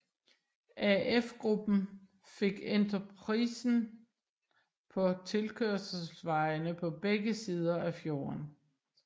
AF Gruppen fik entreprisen på tilkørselsvejene på begge sider af fjorden